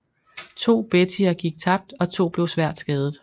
To Bettyer gik tabt og to blev svært skadet